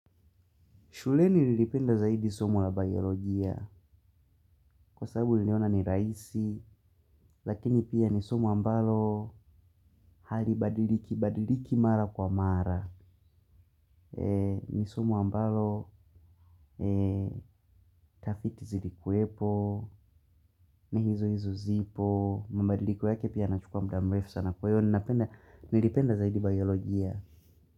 Shule ni nilipenda zaidi somo la biolojia kwa sababu niliona ni rahisi, lakini pia ni somo ambalo hali badiliki, badiliki mara kwa mara. Ni somo ambalo ni tafiti zilikuwepo, ni hizo hizo zipo, mabadiliko yake pia yanachukua muda mrefu sana kwa hiyo ninapenda, nilipenda zaidi biolojia.